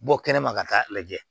Bɔ kɛnɛma ka taa lajɛ